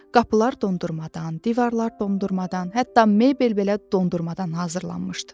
Qapılar dondurmadan, divarlar dondurmadan, hətta mebel belə dondurmadan hazırlanmışdı.